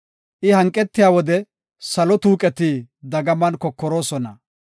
I hanqetiya wode, salo tuuqeti dagaman kokoroosona.